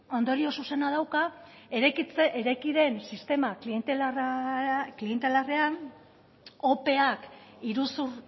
ondorio zuzena dauka eraiki den sistema klientealarrean opeak iruzur